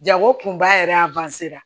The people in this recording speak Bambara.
Jago kunba yɛrɛ